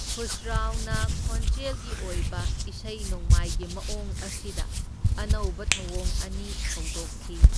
ꯈꯨꯁꯔꯥꯎꯅ ꯈꯣꯟꯖꯦꯜꯒꯤ ꯑꯣꯏꯕ ꯏꯁꯩ ꯅꯣꯡꯃꯥꯏꯒꯤ ꯃꯑꯣꯡ ꯑꯁꯤꯗ ꯑꯅꯧꯕ ꯊꯧꯑꯣꯡ ꯑꯅꯤ ꯍꯧꯗꯣꯛꯈꯤ꯫